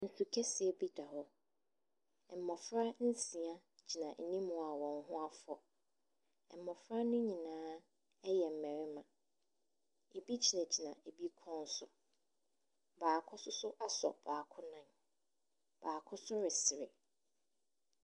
Nsu kɛseɛ bi da hɔ. Mmɔfra nsia gyina anim a wɔn ho afɔ. Mmɔfra no nyinaa ɛyɛ mmarima. Ebi gyinagyina ɛbi kɔn so. Baako nso so asɔ baako nan, baako nso resere.